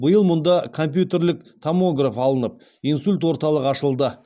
биыл мұнда компьютерлік томограф алынып инсульт орталығы ашылды